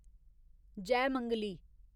Jaymangali